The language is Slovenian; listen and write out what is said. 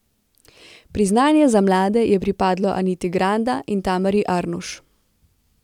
Priznanje za mlade je pripadlo Aniti Granda in Tamari Arnuš.